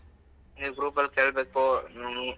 ನೀವ್ group ಅಲ್ ಕೇಳ್ಬೇಕು ಹ್ಮ್‌.